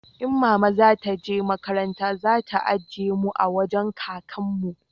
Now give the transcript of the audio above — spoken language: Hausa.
in mama za ta je makaranta za ta ajiye mu a wajen kakan mu